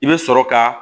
I bɛ sɔrɔ ka